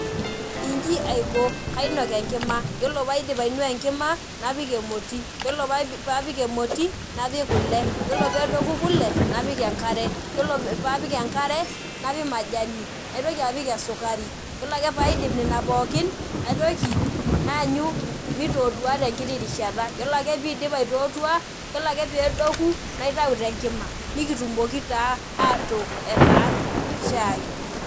Inji aiko , kainok enkima yiolo paidip ainuaa enkima napik emoti , yiolo paapik emoti, napik kule , yiolo pedoku kule napik enkare , yiolo paapik enkare napik majani , naitoki apik esukari, yiolo ake paidip nene pookin naitoki naanyu mitootua tenkiti rishata , yiolo ake piidip aitootua, yiolo ake pedoku , naitau tenkima , nikitumoki taa atook etaa shai.